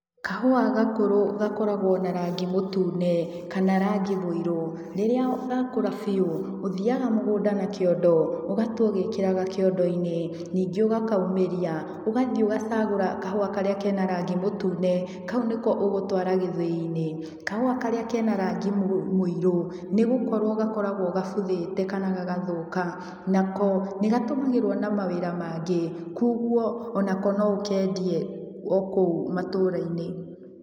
Kahũa gakũrũ gakoragũo na rangi mũtune, kana rangi mũirũ. Rĩrĩa gakũra biũ, ũthiaga mũgũnda na kĩondo, ũgatua ũgĩkĩraga kĩondo-inĩ, ningĩ ũgakaumĩria, ũgathiĩ ũgacagũra kahũa karĩa kena rangi mũtune, kau nĩko ũgũtũara gĩthĩi-inĩ. Kahũa karĩa kena rangi mũirũ, nĩgũkorũo gakoragũo gabuthĩte kana gagathũka, nako nĩgatũmagĩrũo na mawĩra mangĩ, kuoguo onako no ũkendie, okũu matũra-inĩ.